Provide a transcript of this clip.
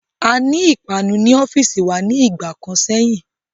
Aní ìpanu ní ọ́fìsì wa ní ìgbà kan sẹ́yìn.